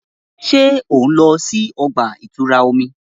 Ṣe o nlọ si ọgba-itura omi?